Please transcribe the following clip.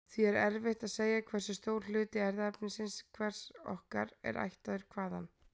Því er erfitt að segja hversu stór hluti erfðaefnis hvers okkar er ættaður hvaðan.